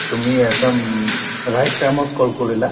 তুমি এটা um right time ত call কৰিলা